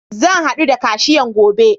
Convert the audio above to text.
Zan haɗu da kashiyan gobe.